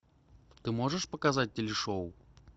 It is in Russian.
ты можешь показать телешоу